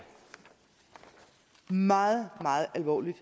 meget meget alvorligt